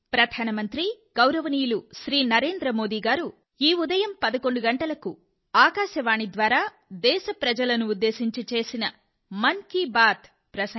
ప్రియమైన నా దేశ ప్రజలారా నమస్కారం